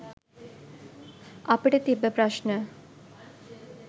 අපිට තිබ්බ ප්‍රශ්න